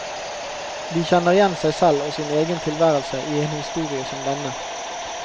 De kjenner igjen seg selv og sin egen tilværelse i en historie som denne.